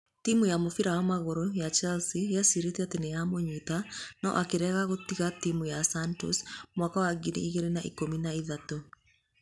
Timu ya mũbira wa magũrũ ya Chelsea yecirĩtie atĩ nĩ nĩyamũnyitĩte no akĩrega gũtiga timu ya Santos mwaka wa ngiri igĩrĩ na ikũmi na ithatũ.